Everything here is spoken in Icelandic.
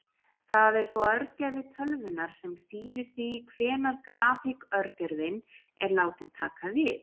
Það er þó örgjörvi tölvunnar sem stýrir því hvenær grafík-örgjörvinn er látinn taka við.